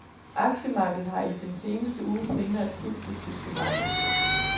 Aktiemarkedet har i den seneste uge primært fulgt det tyske marked.